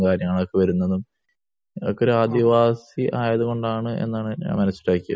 മൊഴികളൊക്കെ വരുന്നതും അത് ഒരു ആദിവാസി ആയതുകൊണ്ടാണ് എന്നാണ് എനിക്ക് മനസ്സ് സ്ട്രൈക്ക് ചെയ്തത്